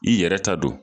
I yɛrɛ ta don